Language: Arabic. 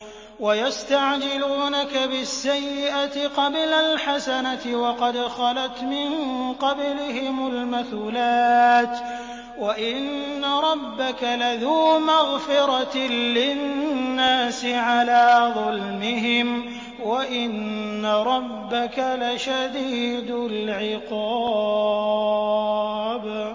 وَيَسْتَعْجِلُونَكَ بِالسَّيِّئَةِ قَبْلَ الْحَسَنَةِ وَقَدْ خَلَتْ مِن قَبْلِهِمُ الْمَثُلَاتُ ۗ وَإِنَّ رَبَّكَ لَذُو مَغْفِرَةٍ لِّلنَّاسِ عَلَىٰ ظُلْمِهِمْ ۖ وَإِنَّ رَبَّكَ لَشَدِيدُ الْعِقَابِ